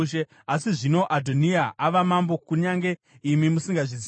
Asi zvino Adhoniya ava mambo, kunyange imi musingazvizivi.